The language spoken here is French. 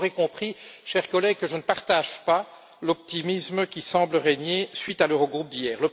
Vous aurez donc compris, chers collègues, que je ne partage pas l'optimisme qui semble régner à la suite de l'Eurogroupe d'hier.